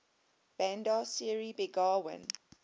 bandar seri begawan